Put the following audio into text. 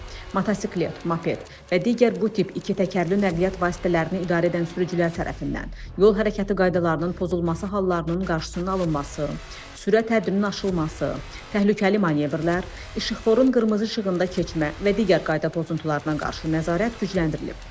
Motosiklet, moped və digər bu tip ikitəkərli nəqliyyat vasitələrini idarə edən sürücülər tərəfindən yol hərəkəti qaydalarının pozulması hallarının qarşısının alınması, sürət həddinin aşılması, təhlükəli manevrlər, işıqforun qırmızı işığında keçmə və digər qayda pozuntuların qarşı nəzarət gücləndirilib.